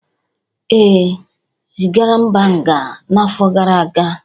Ee, ezigara Mba nga n’afọ gara aga.